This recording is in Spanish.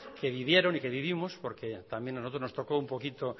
que vivieron y que vivimos porque también a nosotros nos tocó un poquito